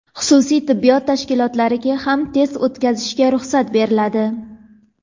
Xususiy tibbiyot tashkilotlariga ham test o‘tkazishga ruxsat beriladi.